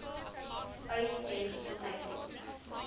uys sê gesondheidsdienste